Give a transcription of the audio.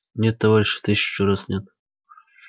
нет товарищи тысячу раз нет